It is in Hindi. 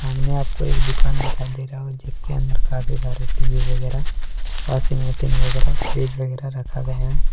आपको एक दुकान दिखाई दे रहा हो जिसके अंदर काफी सारे टी_वी वगैरा वाशिंग मशीन वगैरह फ्रिज वगैरह रखा गया है।